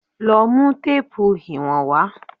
Lọ mú téèpù ìwọ̀n wá.!